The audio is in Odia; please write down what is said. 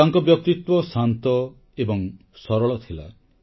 ତାଙ୍କ ବ୍ୟକ୍ତିତ୍ୱ ଶାନ୍ତ ଏବଂ ସରଳ ଥିଲା